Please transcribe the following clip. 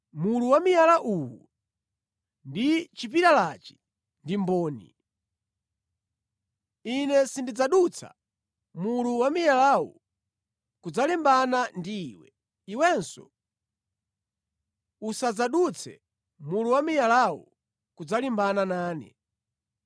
Mulu wa miyala uwu ndi chipilalachi ndi mboni. Ine sindidzadutsa mulu wa miyalawu kudzalimbana ndi iwe. Iwenso usadzadutse mulu wa miyalawu kudzalimbana nane.